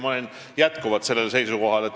Ma olen jätkuvalt sellel seisukohal.